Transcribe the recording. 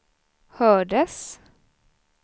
hördes